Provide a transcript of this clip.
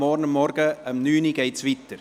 Es geht morgen um 9 Uhr weiter.